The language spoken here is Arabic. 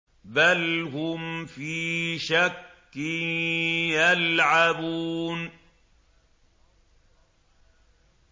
بَلْ هُمْ فِي شَكٍّ يَلْعَبُونَ